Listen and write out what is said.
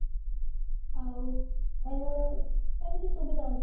ଆଉ ଉଁ ଏମିତି ସୁବିଧା ଅଛି